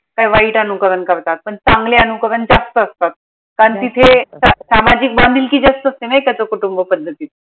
काई वाईट अनुकरण करतात पन चांगले अनुकरण जास्त असतात कारण तिथे सामाजिक बांधिलकी जास्त असते ना एकत्र कुटुंब पद्धतीत